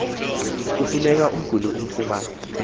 kufuneka umguli afumane